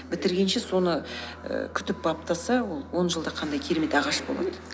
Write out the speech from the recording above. бітіргенше соны ііі күтіп баптаса ол он жылда қандай керемет ағаш болады